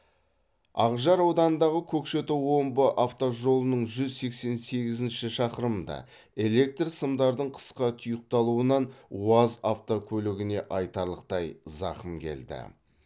ақжар ауданындағы көкшетау омбы автожолының жүз сексен сегізінші шақырымында электр сымдардың қысқа тұйықталуынан уаз автокөлігіне айтарлықтай зақым келді